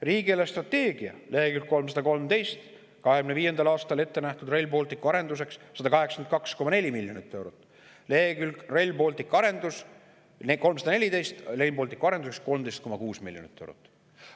Riigi eelarvestrateegia lehekülg 314: 2025. aastal ette nähtud Rail Balticu arenduseks 182,4 miljonit eurot ja Rail Balticu arenduseks 13,6 miljonit eurot.